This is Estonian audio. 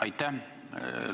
Aitäh!